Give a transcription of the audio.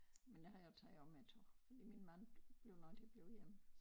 Men nu her tager jeg med tog fordi min mand blev nødt til at blive hjemme